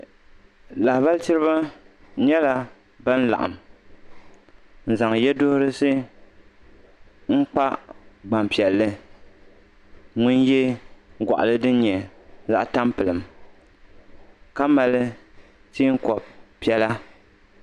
Lahabali tiriba nyɛla ban laɣim n zaŋ yeduhurisi n kpa gbampiɛlli ŋun ye gɔɣali din nyɛ zaɣa tampilim ka mali teenkob'piɛlla.